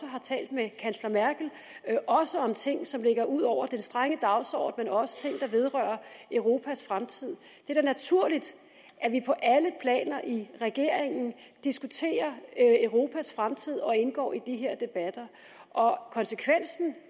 har talt med kansler merkel også om ting som ligger ud over den strenge dagsorden også ting der vedrører europas fremtid det er da naturligt at vi på alle planer i regeringen diskuterer europas fremtid og indgår i de her debatter konsekvensen